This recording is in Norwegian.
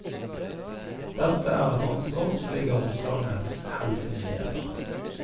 Dette er et ansvar som ligger hos landets helsemyndigheter.